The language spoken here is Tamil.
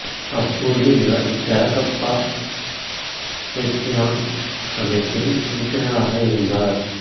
அப்போது இவர் டௌ கப்பா எப்சிலான் அமைப்பில் உறுப்பினராக இருந்தார்